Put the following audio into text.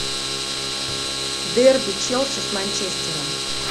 дерби челси с манчестером